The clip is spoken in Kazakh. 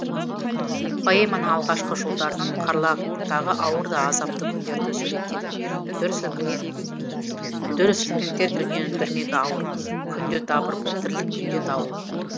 поэманың алғашқы жолдарынан қарлагтағы ауыр да азапты күндерді суреттейді дүр сілкінтер дүниенің дүрмегі ауыр күнде дабыр бұл тірлік күнде дауыл